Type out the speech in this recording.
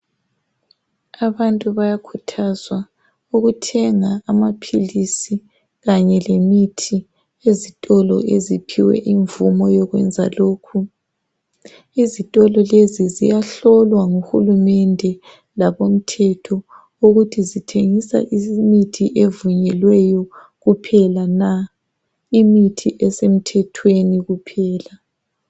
Abantu bayakuthazwa ukuthenga amaphilisi kanye lemithi ezitolo eziphiwe ivumo yokwenza lokhu. Izitolo lezi ziyahlolwa nguhurumende labomthetho ukuthi zithengisa imithi evunyelweyo kuphela na, imithi isemthethweni kuphela.